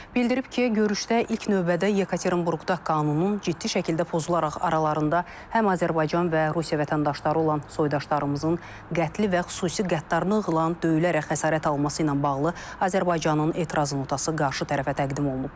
Bildirib ki, görüşdə ilk növbədə Yekaterinburqda qanunun ciddi şəkildə pozularaq aralarında həm Azərbaycan və Rusiya vətəndaşları olan soydaşlarımızın qətli və xüsusi qəddarlıqla döyülərək xəsarət alması ilə bağlı Azərbaycanın etiraz notası qarşı tərəfə təqdim olunub.